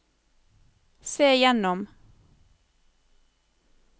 se gjennom